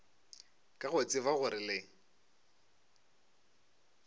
ka go tseba gore le